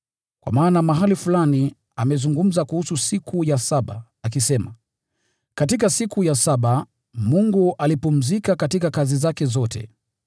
Kwa maana mahali fulani amezungumza kuhusu siku ya saba, akisema: “Katika siku ya saba Mungu alipumzika kutoka kazi zake zote.”